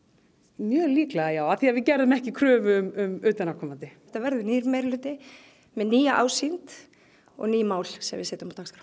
mjög líklega já af því að við gerðum ekki kröfu um utanaðkomandi þetta verður nýr meirihluti með nýja ásýnd og ný mál sem við setjum á dagskrá